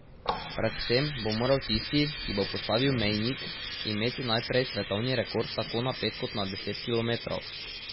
Predvsem bo moral tisti, ki bo postavil mejnik, imeti najprej svetovni rekord tako na pet kot na deset kilometrov.